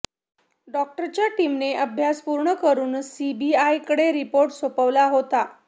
डॉक्टरांच्या टीमने अभ्यास पूर्ण करुन सीबीआयकडे रिपोर्ट सोपवला होता